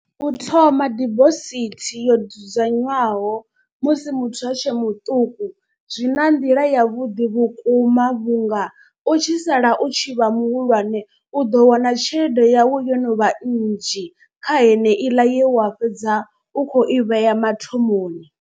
U thoma dibosithi yo dzudzanywaho musi muthu a tshe muṱuku zwi nga nḓila yavhuḓi vhukuma. Vhunga u tshi sala u tshi vha muhulwane u ḓo wana tshelede yau yo no vha nnzhi kha heneiḽa ye wa fhedza u kho i vhea mathomoni.